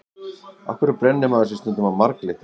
Af hverju brennir maður sig stundum á marglyttum?